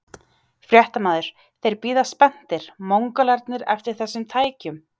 Fréttamaður: Þeir bíða spenntir, Mongólarnir eftir þessum tækjum?